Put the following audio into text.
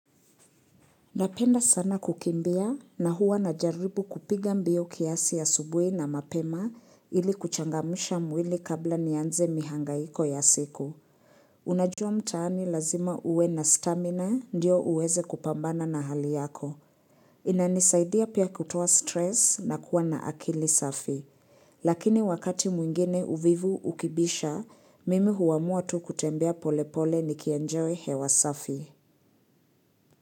Napenda sana kukimbia na huwa najaribu kupiga mbio kiasi asubuhi na mapema ili kuchangamsha mwili kabla nianze mihangaiko ya siku. Unajua mtaani lazima uwe na stamina ndio uweze kupambana na hali yako. Inanisaidia pia kutoa stress na kuwa na akili safi. Lakini wakati mwingine uvivu ukibisha, mimi huamua tu kutembea polepole nikienjoy hewa safi.